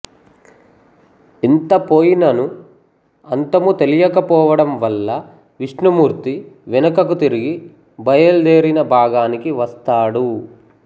ఎంతపోయినను అంతము తెలియకపోవడం వల్ల విష్ణుమూర్తి వెనుకకు తిరిగి బయలుదేరిన భాగానికి వస్తాడు